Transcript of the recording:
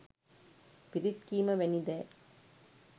පිරිත් කීම වැනි දෑ